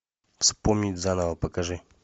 вспомнить заново покажи